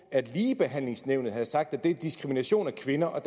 at ligebehandlingsnævnet havde sagt at det var en diskrimination af kvinder og